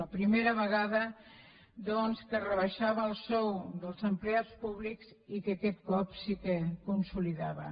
la primera vegada doncs que es rebaixava el sou dels empleats públics i que aquest cop sí que consolidava